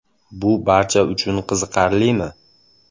Bu barcha uchun qiziqarlimi?